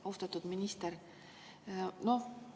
Austatud minister!